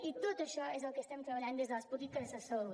i tot això és el que estem treballant des de les polítiques de salut